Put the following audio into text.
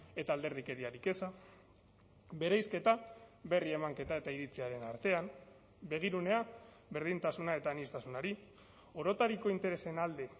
eta alderdikeriarik eza bereizketa berri emanketa eta iritziaren artean begirunea berdintasuna eta aniztasunari orotariko interesen alde